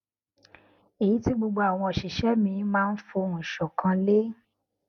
èyí tí gbogbo àwọn òṣìṣé mi máa ń fohùn ṣòkan lé